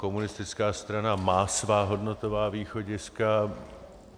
Komunistická strana má svá hodnotová východiska.